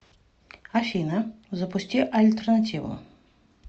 афина запусти альтернативу